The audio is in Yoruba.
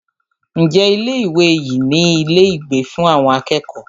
Ǹjẹ́ ilé ìwé yìí ní ilé ìgbé fún àwọn akẹ́kọ̀ọ́?